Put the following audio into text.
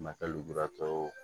Matɛrɛ lujuratɔ